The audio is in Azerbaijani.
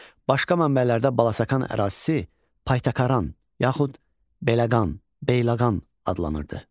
Başqa mənbələrdə Balasakan ərazisi Paytakaran, yaxud Beləqan, Beyləqan adlanırdı.